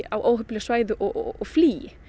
á óheppileg svæði og flýi í